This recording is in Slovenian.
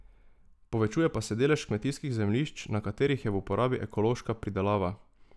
Povečuje pa se delež kmetijskih zemljišč, na katerih je v uporabi ekološka pridelava.